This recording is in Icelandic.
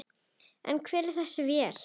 En hvar er þessi vél?